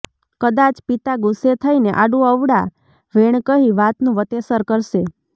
કદાચ પિતા ગુસ્સે થઈને આડુંઅવળાં વેણ કહી વાતનું વતેસર કરશે